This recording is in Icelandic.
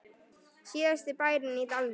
Síðasti bærinn í dalnum